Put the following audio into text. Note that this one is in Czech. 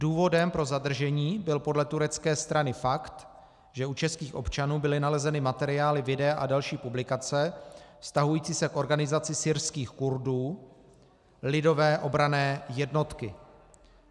Důvodem pro zadržení byl podle turecké strany fakt, že u českých občanů byly nalezeny materiály, videa a další publikace vztahující se k organizaci syrských Kurdů Lidové obranné jednotky.